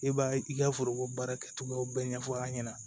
I b'a ye i ka foroko baara kɛcogoyaw bɛɛ ɲɛfɔ an ɲɛna